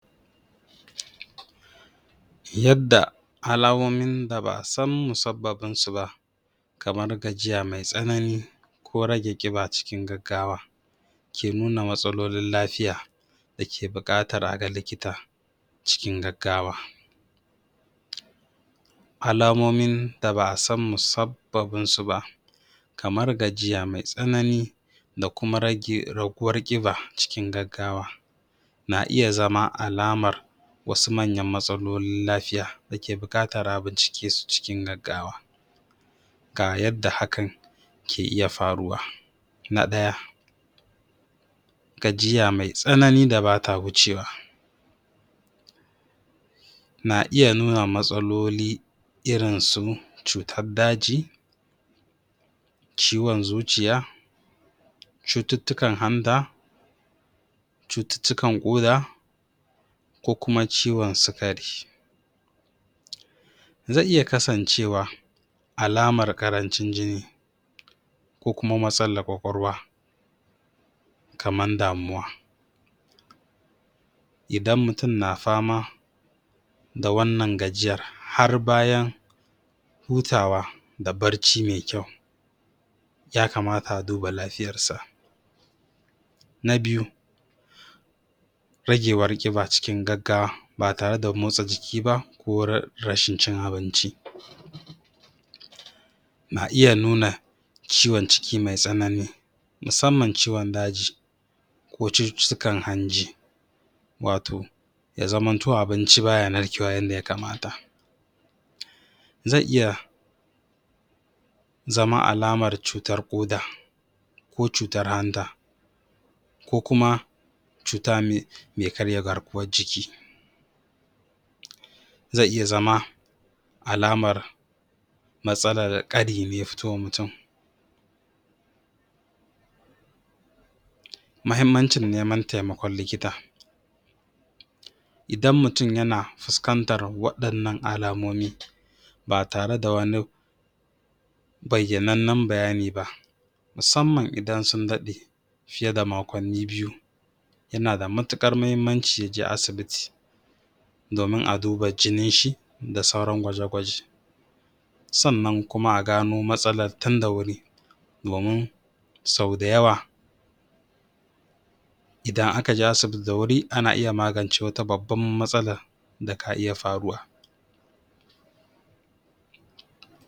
yadda alamomin da ba'a san musabbabin su ba kamar gajiya maitsanani ko rage ƙiba cikin gaggawa ke nuna matsalolin lafiya da ke buƙatar a ga likita cikin gaggawa alamomin da ba'a san musabbabin su ba kamar gajiya mai tsanani da kuma rage raguwar ƙiba cikin gaggawa na iya zama alamar wasu manya matsalolin lafiya dake buƙatar a bincike su cikin gaggawa ga yadda hakan ke iya faruwa na ɗaya gajiya mai tsanani da bata gucewa na iya zama matsaloli irin su cutar daji ciwon zuciya cututtukan hanta cututtukan ƙoda ko kuma ciwon sikari zai iya kasancewa alamar ƙarancin jini ko kuma matsalar kwakwalwa kamar damuwa idan mutum na fama da wannan gajiyar har bayan hutawa da bacci mai kyau ya kamata a duba lafiyar sa na biyu ragewar ƙiba cikin gaggawa ba tareda motsa jiki ba ko rashin cin abinci na iya nuna ciwon ciki mai tsanani musamman ciwon daji ko cututtukan hanji wato ya zamo abinci baya narkewa yanda ya kamata zai iya zama alamar cutar ƙoda ko cutar hanta ko kuma cuta mai karya garkuwar jiki zai iya zama alamar matsalar ƙari ne ya fitowa mutum muhimmancin neman taimakon likita idan mutum yana fuskantar waɗanan alamomi ba tareda wani bayyanannan bayani ba musamman idan sun daɗe fiye da makonni biyu yana da mutuƙar muhimmanci yaje asibiti domin a duba jini shi da sauran gwaje gwaje sannan a gano matsalar tun da wuri domin sau da yawa idan aka je asibiti da wuri ana iya magance wata babbar matsala da ka iya faruwa